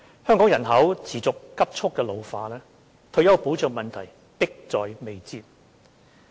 香港人口持續急速老化，退休保障問題迫在眉睫。